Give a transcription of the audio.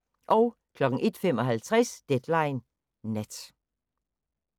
01:55: Deadline Nat